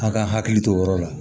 An ka hakili to o yɔrɔ la